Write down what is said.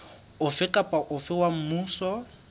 ofe kapa ofe wa mmuso